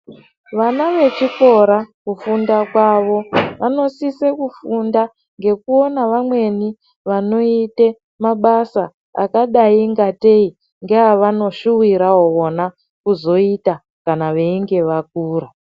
Vana vechikora kufunda kwavo vanosise kufunda veyionawo vamweni vanoite mabasa angaite ngatei ndiwo avanoshuwirawo vona kuzoita kana veinge vakura.